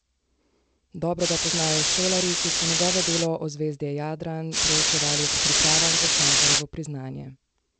Dobro ga poznajo šolarji, ki so njegovo delo Ozvezdje Jadran preučevali ob pripravah za Cankarjevo priznanje.